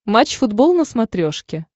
матч футбол на смотрешке